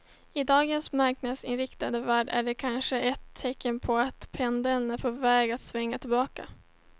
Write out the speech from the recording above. I dagens marknadsinriktade värld är det kanske ett tecken påatt pendeln är på väg att svänga tillbaka.